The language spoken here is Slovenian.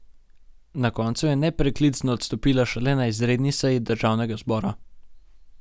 Na koncu je nepreklicno odstopila šele na izredni seji državnega zbora.